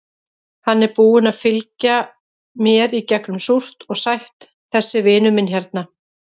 Hann er búinn að fylgja mér í gegnum súrt og sætt, þessi vinur minn hérna.